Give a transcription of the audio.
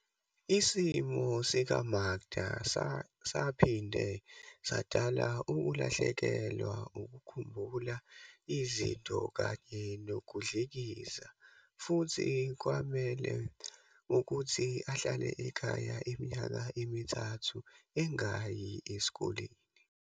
Isimo sika-Makda saphinde sadala ukulahlekelwa ukukhumbula izinto kanye nokudlikiza futhi kwamele ukuthi ahlale ekhaya iminyaka emithathu engayi esikoleni.